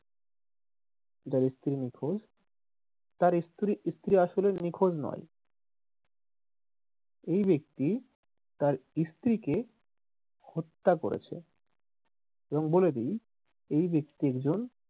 যার স্ত্রী নিখোঁজ তার স্ত্রী স্ত্রী আসলে নিখোঁজ নয়, এই ব্যাক্তি তার স্ত্রীকে হত্যা করেছে। এবং বলে দি এই ব্যাক্তি একজন,